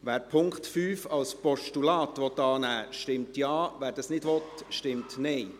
Wer den Punkt 5 als Postulat annehmen will, stimmt Ja, wer dies nicht will, stimmt Nein.